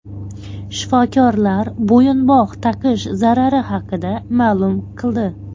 Shifokorlar bo‘yinbog‘ taqish zarari haqida ma’lum qildi.